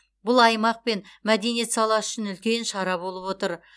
бұл аймақ пен мәдениет саласы үшін үлкен шара болып отыр